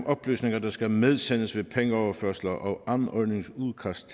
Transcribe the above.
oplysninger der skal medsendes ved pengeoverførsler og anmodningsudkast